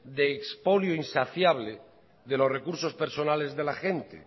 de expolio insaciable de los recursos personales de la gente